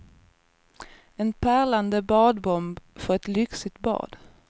En pärlande badbomb för ett lyxigt bad.